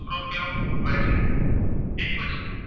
તે પછી